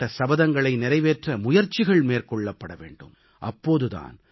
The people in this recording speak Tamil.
அப்படி மேற்கொள்ளப்பட்ட சபதங்களை நிறைவேற்ற முயற்சிகள் மேற்கொள்ளப்பட வேண்டும்